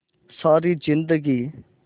सारी जिंदगी